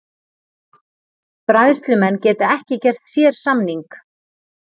Bræðslumenn geta ekki gert sérsamning